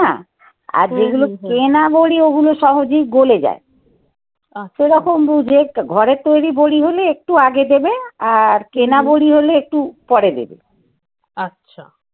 আর যেগুলো কেনা বড়ি ওগুলো সহজেই গলে যায়. সেরকম বুঝে ঘরের তৈরি বড়ি হলে একটু আগে দেবে. আর কেনা বড়ি হলে একটু পরে দেবে. আচ্ছা